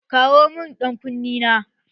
Kawo mun ƴan kunne na!